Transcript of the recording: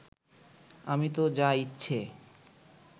আমি তো যা ইচ্ছে